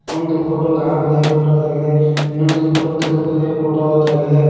ಒಂದು ಫೋಟೋ ಗಣಪತಿಯ ಫೋಟೋ ಆಗಿದೆ ಇನ್ನೊಂದು ಫೋಟೋ ತಿರುಪತಿಯ ಫೋಟೋ ಆಗಿದೆ.